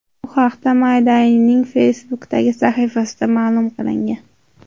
Bu haqda My Day’ning Facebook’dagi sahifasida ma’lum qilingan .